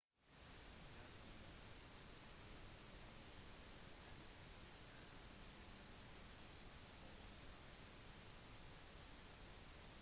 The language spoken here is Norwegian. dersom bekreftet så fullfører det allens åtte år lange letesøk for musashi